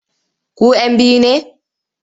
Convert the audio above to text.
Ku 'yan biyu ne?